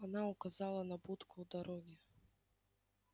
она указала на будку у дороги